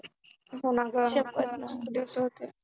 होना गं दिवसं होते.